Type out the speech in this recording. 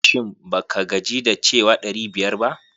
Shin ba ka gaji da cewa ɗari biyar ba?